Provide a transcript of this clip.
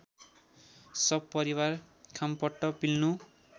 सपरिवार खामपट्ट पिल्नु